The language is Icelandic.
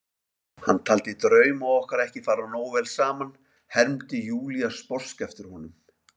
Hann taldi drauma okkar ekki fara nógu vel saman, hermdi Júlía sposk eftir honum.